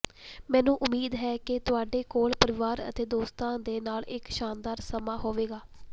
ਮੈਨੂੰ ਉਂਮੀਦ ਹੈ ਕਿ ਤੁਹਾਡੇ ਕੋਲ ਪਰਿਵਾਰ ਅਤੇ ਦੋਸਤਾਂ ਦੇ ਨਾਲ ਇਕ ਸ਼ਾਨਦਾਰ ਸਮਾਂ ਹੋਵੇਗਾ